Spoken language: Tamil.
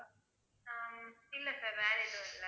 ஹம் இல்லை sir வேற எதுவும் இல்லை